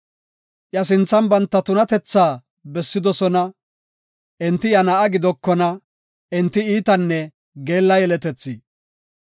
Iya sinthan banta tunatethaa bessidosona; enti iya na7a gidokona; enti iitanne geella yeletethi.